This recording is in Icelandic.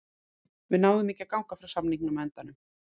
Við náðum ekki að ganga frá samningum á endanum.